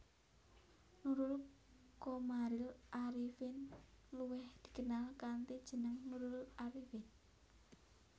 Nurul Qomaril Arifin luwih dikenal kanthi jeneng Nurul Arifin